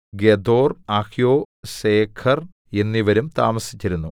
ഗെദോർ അഹ്യോ സേഖെർ എന്നിവരും താമസിച്ചിരുന്നു